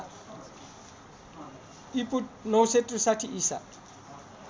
ईपू ९६३ ईसा